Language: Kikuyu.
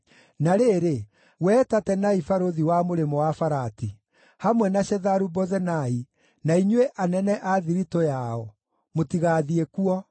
Na rĩrĩ, wee Tatenai barũthi wa Mũrĩmo-wa-Farati, hamwe na Shetharu-Bozenai, na inyuĩ, anene a thiritũ yao, mũtigathiĩ kuo.